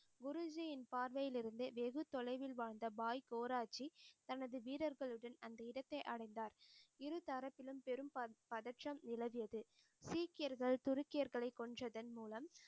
குருஜியின் பார்வையில் இருந்து வெகு தொலைவில் வாழ்ந்த பாய் கோராஜி தனது வீரர்களுடன் அந்த இடத்தை அடைந்தார். இருதரப்பிலும் பெரும் பதற்றம் நிலவியது சீக்கியர்கர் துருக்கியர்களை கொன்றதன் மூலம்